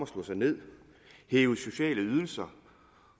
slå sig ned hæve sociale ydelser